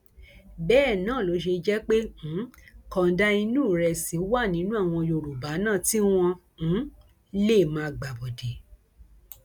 bẹẹ náà ló ṣe jẹ pé um kànńdá inú ìrẹsì wà nínú àwọn yorùbá náà tí wọn um lè máa gbàbọdè